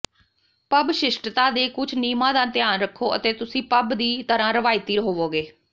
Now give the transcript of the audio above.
pub ਸ਼ਿਸ਼ਟਤਾ ਦੇ ਕੁਝ ਨਿਯਮਾਂ ਦਾ ਧਿਆਨ ਰੱਖੋ ਅਤੇ ਤੁਸੀਂ ਪੱਬ ਦੀ ਤਰ੍ਹਾਂ ਰਵਾਇਤੀ ਹੋਵੋਗੇ